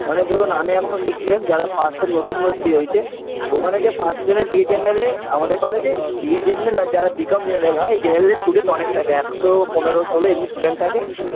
মানে ধরুন আমি এখন six sem যারা first sem নতুন ভর্তি হইছে ওখানে যে first sem -এ B.A general -এ আমাদের college -এ B.A general আর যারা b.com general হয় general student অনেক থাকে একশো পোনেরো ষোলো এমনি student থাকে